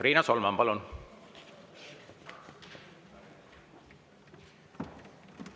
Riina Solman, palun!